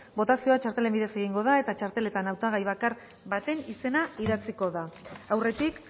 botazioa txartelen bidez egingo da eta txarteletan hautagai bakar baten izena idatziko da aurretik